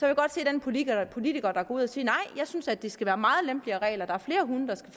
jeg godt se den politiker politiker der går ud og siger nej jeg synes at der skal være meget lempeligere regler der er flere hunde der skal